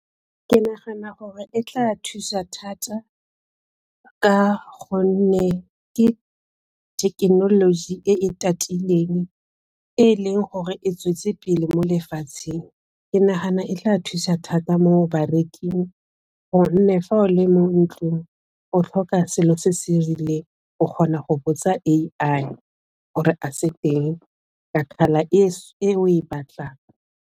Ke nagana gore e tla thusa thata ka gonne ke thekenoloji e e tatileng e e leng gore e tswetse pele mo lefatsheng. Ke nagana e e ka thusa thata mo bareking gonne fa o le mo ntlong o tlhoka selo se se rileng o kgona go botsa A_I gore a se teng e o e batlang.